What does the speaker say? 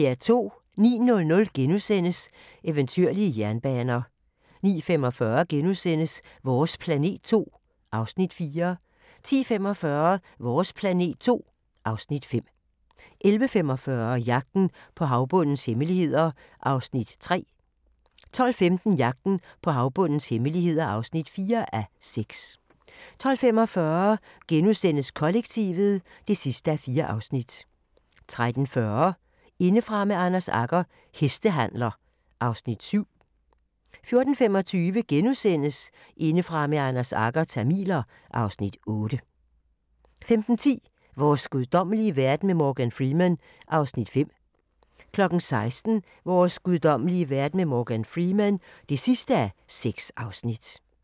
09:00: Eventyrlige jernbaner (5:6)* 09:45: Vores planet II (Afs. 4)* 10:45: Vores planet II (Afs. 5) 11:45: Jagten på havbundens hemmeligheder (3:6) 12:15: Jagten på havbundens hemmeligheder (4:6) 12:45: Kollektivet (4:4)* 13:40: Indefra med Anders Agger – Hestehandler (Afs. 7) 14:25: Indefra med Anders Agger – Tamiler (Afs. 8)* 15:10: Vores guddommelige verden med Morgan Freeman (5:6) 16:00: Vores guddommelige verden med Morgan Freeman (6:6)